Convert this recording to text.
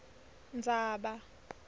ndzaba